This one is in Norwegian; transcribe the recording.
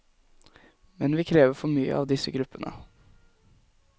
Men vi krever for mye av disse gruppene.